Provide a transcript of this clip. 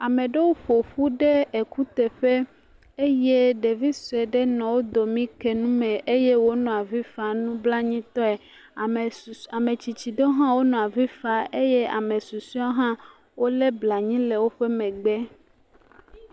Ame aɖewo ƒo ƒu ɖe ekuteƒe eye ɖevi sue ɖe nɔ wo dome ke nume eye wònɔ avi fam nublanuitɔe. Ame susue, ametsitsi ɖewo hã wonɔ avi fa eye ame susuewo hã wolé blanui le woƒe megbe.